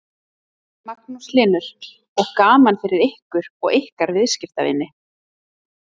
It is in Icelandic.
Magnús Hlynur: Og gaman fyrir ykkur og ykkar viðskiptavini?